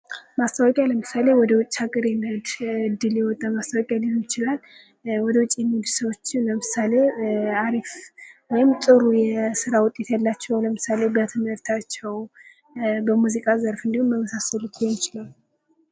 ማስታወቂያ ለምሳሌ ወደውጭ ሀገር ለመሄድ እድል የወጣ ማስታወቂያ ሊሆን ይችላል ወደውጭ የሚሄዱ ሰዎች ለምሳሌ አሪፍ ወይም ጥሩ የስራ ውጤት ያላቸው ለምሳሌ በትምህርታቸው በሙዚቃ ዘርፍ እንድሁም በመሳሰሉት ሊሆን ይችላል።